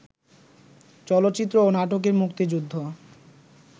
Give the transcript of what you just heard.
চলচ্চিত্র ও নাটকে মুক্তিযুদ্ধ